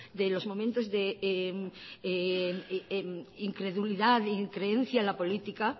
de los momentos incredulidad increencia en la política